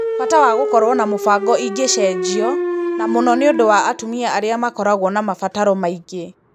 Bata wa gũkorwo na mũbango ingĩcenjia, na mũno nĩũndũ wa atumia arĩa makoraguo na mabataro maingĩ.